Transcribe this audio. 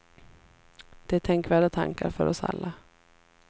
Det är tänkvärda tankar för oss alla.